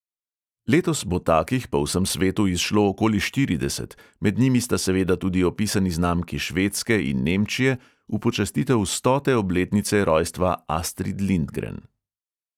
Letos bo takih po vsem svetu izšlo okoli štirideset, med njimi sta seveda tudi opisani znamki švedske in nemčije v počastitev stote obletnice rojstva astrid lindgren.